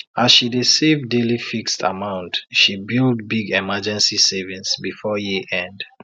as she dey save daily fixed amount she build big emergency savings before year end